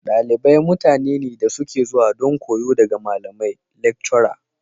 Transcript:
Dalibai mutane ne da suke zuwa don koyo daga malamai/lactura.